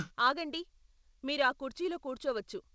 ఆగండి, మీరు ఆ కుర్చీలో కూర్చోవచ్చు.